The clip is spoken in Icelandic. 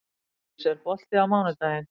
Hraundís, er bolti á mánudaginn?